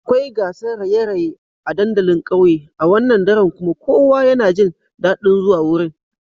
Akwai gasar raye-raye a dandalin kauye a wannan dare kuma kowa yana jin dadin zuwa wurin.